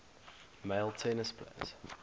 male tennis players